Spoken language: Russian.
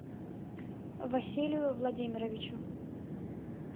василию владимировичу